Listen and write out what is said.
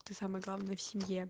то самое главное в семье